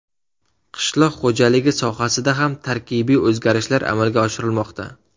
Qishloq xo‘jaligi sohasida ham tarkibiy o‘zgarishlar amalga oshirilmoqda.